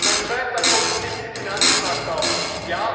Mein zweiter Punkt ist die Finanzmarktaufsicht.